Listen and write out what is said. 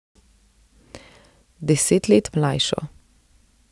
Deset let mlajšo.